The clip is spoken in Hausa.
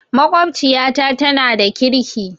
Maƙwabciyata tana da ƙirki